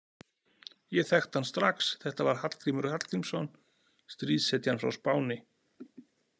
Ég þekkti hann strax, þetta var Hallgrímur Hallgrímsson, stríðshetjan frá Spáni.